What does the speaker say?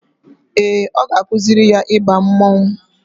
Ee, ọ ga-akwụsị ya ịba mmanwụ